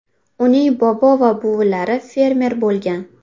Uning bobo va buvilari fermer bo‘lgan.